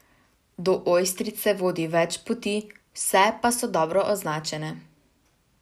Do Ojstrice vodi več poti, vse pa so dobro označene.